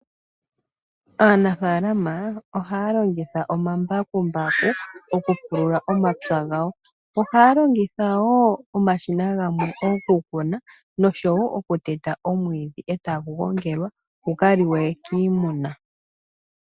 Aanafalama ohaya longitha omambakumbaku okupulula omapya gawo. Ohaya longitha wo omashina gamwe okukuna, noshowo okuteta omwiidhi e tagu gongelwa, guka liwe kiimuna.